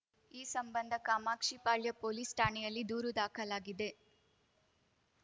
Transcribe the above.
ಈ ಸಂಬಂಧ ಕಾಮಾಕ್ಷಿಪಾಳ್ಯ ಪೊಲೀಸ್‌ ಠಾಣೆಯಲ್ಲಿ ದೂರು ದಾಖಲಾಗಿದೆ